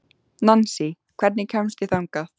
Nansý, hvernig kemst ég þangað?